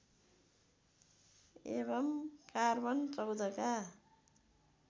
एवं कार्बन १४ का